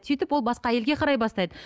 сөйтіп ол басқа әйелге қарай бастайды